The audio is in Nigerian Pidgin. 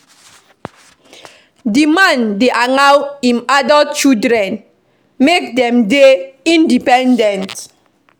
Di man dey allow im adult children make dem dey independent.